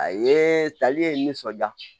A ye tali ye n nisɔnja